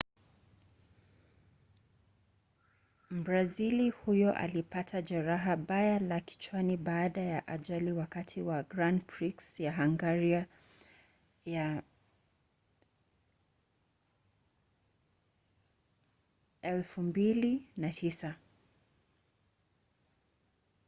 mbrazili huyo alipata jeraha baya la kichwani baada ya ajali wakati wa grand prix ya hungaria ya 2009